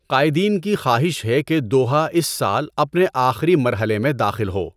قائدین کی خواہش ہے کہ دوحہ اس سال اپنے آخری مرحلے میں داخل ہو۔